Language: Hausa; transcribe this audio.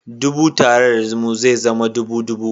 Dubu tare da hudu ze zama ɗubu hudu